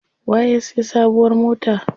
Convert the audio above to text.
Waye ya siya sabuwar mota?